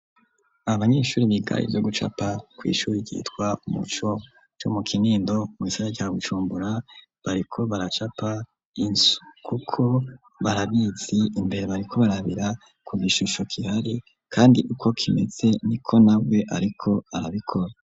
Abanyeshuri bigari zo gucapa ku ishuri gitwa Muco ryo mu kinindo mugisagara ca bujumbura .Bariko baracapa inzu kuko barabizi imbere bariko barabira ku gishusho kihari kandi uko kimetse niko nawe ariko arabikora.